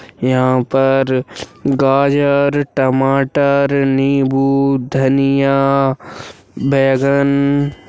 यहाँ पर गाजर टमाटर नींबू धनिया बैंगन--